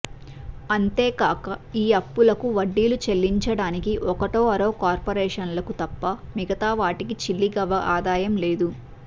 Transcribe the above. అంతేగాక ఈ అప్పులకు వడ్డీలు చెల్లించడానికి ఒకటో అరో కార్పొరేషన్లకు తప్ప మిగతా వాటికి చిల్లి గవ్వ ఆదాయం లేదు